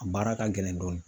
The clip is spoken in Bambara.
A baara ka gɛlɛn dɔɔni